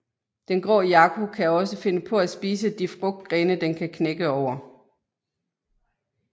Den grå jaco kan også finde på at spise de frugtgrene den kan knække over